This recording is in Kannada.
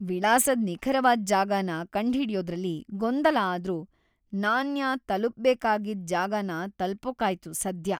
ವಿಳಾಸದ್ ನಿಖರವಾದ್‌ ಜಾಗನ ಕಂಡ್ಹಿ‌ಡ್ಯೋದ್ರಲ್ಲಿ ಗೊಂದಲ ಆದ್ರೂ, ನಾನ್ಯ‌ ತಲುಪ್ಬೇಕಾಗಿದ್‌ ಜಾಗನ ತಲ್ಪೋಕಾಯ್ತು ಸದ್ಯ!